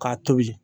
K'a tobi